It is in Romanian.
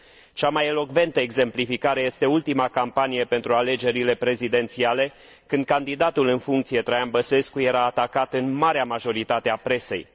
Cea mai elocventă exemplificare este ultima campanie pentru alegerile prezidențiale, când candidatul în funcție, Traian Băsescu, era atacat în marea majoritatea a presei.